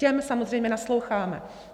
Těm samozřejmě nasloucháme.